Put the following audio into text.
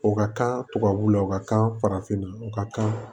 O ka kan tubabuw la u ka kan farafinna u ka kan